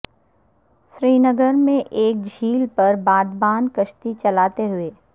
سرینگر میں ایک جھیل پر بادبان کشتی چلاتے ہوئے